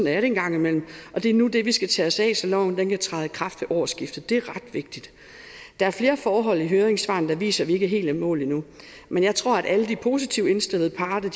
er det en gang imellem og det er nu det vi skal tage os af så loven kan træde i kraft ved årsskiftet det er ret vigtigt der er flere forhold i høringssvarene der viser at vi ikke er helt i mål endnu men jeg tror at alle de positivt indstillede parter